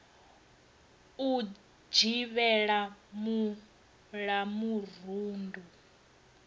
u dzivhela mul a murundu